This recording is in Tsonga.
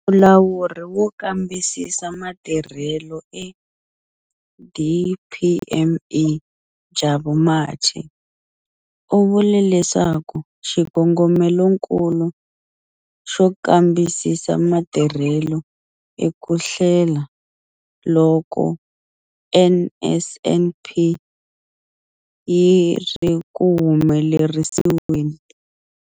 Mulawuri wo Kambisisa Matirhelo eDPME, Jabu Mathe, u vule leswaku xikongomelonkulu xo kambisisa matirhelo i ku hlela loko NSNP yi ri ku humelerisiweni.